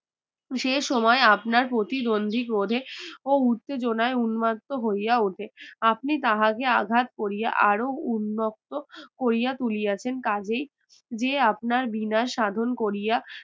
সে সময় আপনার প্রতিদ্বন্দ্বিক রোধে ও উত্তেজনায় উন্মাত্ত হইয়া ওঠে আপনি তাহাকে আঘাত করিয়া আরও উন্নত করিয়া তুলিয়াছেন কাজেই যে আপনার বিনা সাধন করিয়া